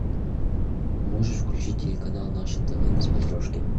можешь включить телеканал наше тв на смотрешке